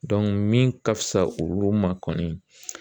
min ka fisa olu ma kɔni